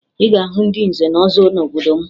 Ị ga-ahụ ndị nze na ọzọ n'obodo m